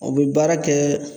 O bɛ baara kɛ